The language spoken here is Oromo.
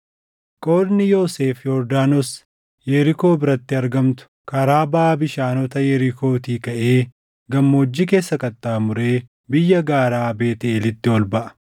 Qoodni Yoosef Yordaanos Yerikoo biratti argamtu, karaa baʼa bishaanota Yerikootii kaʼee gammoojjii keessa qaxxaamuree biyya gaaraa Beetʼeelitti ol baʼa.